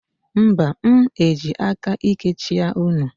Mba, m eji aka íké chịa unu.